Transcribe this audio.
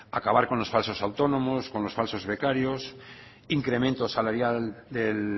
acabar con los falsos autónomos con los falsos becarios incremento salarial del